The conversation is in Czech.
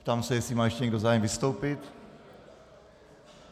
Ptám se, jestli má ještě někdo zájem vystoupit.